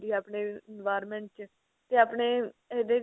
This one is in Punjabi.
ਆਪਣੇ environment ਚ ਤੇ ਆਪਣੇ ਇਹਦੇ ਚ